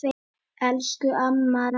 Elsku amma Ragga.